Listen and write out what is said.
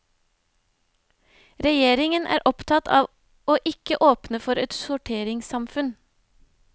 Regjeringen er opptatt av å ikke åpne for et sorteringssamfunn.